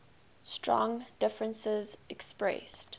strong differences expressed